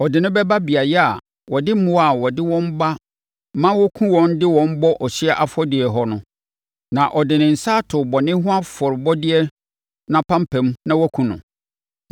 Ɔde no bɛba beaeɛ a wɔde mmoa a wɔde wɔn ba ma wɔkum wɔn de wɔn bɔ ɔhyeɛ afɔdeɛ hɔ no, na ɔde ne nsa ato bɔne ho afɔrebɔdeɛ no apampam na wakum no.